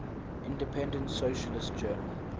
independent socialist journal